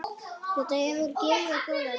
Þetta hefur gefið góða raun.